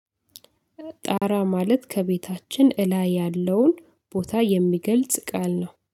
ጣራ ማለት ከቤታችን እላይ ያለውን ቦታ የሚገልጽ ቃል ነው።